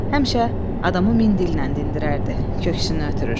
Həmişə adamı min dillə dinlərdəydi, köksünü ötürür.